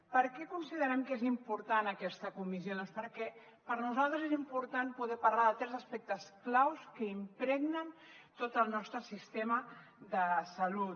per què considerem que és important aquesta comissió doncs perquè per nosaltres és important poder parlar de tres aspectes clau que impregnen tot el nostre sistema de salut